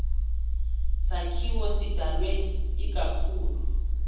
sakhiwo sidalwe ikakhulu